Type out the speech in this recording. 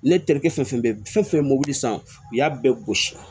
Ne terikɛ fɛn fɛn bɛ fɛn fɛn mobili san u y'a bɛɛ gosi